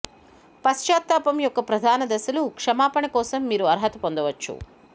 పశ్చాత్తాపం యొక్క ప్రధాన దశలు క్షమాపణ కోసం మీరు అర్హత పొందవచ్చు